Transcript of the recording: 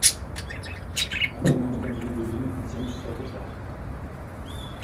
афина установи будильник на семь часов утра